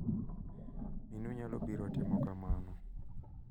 Minu nyalo biro timo kamano.